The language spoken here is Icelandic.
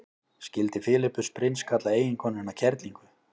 skildi filippus prins kalla eiginkonuna kerlingu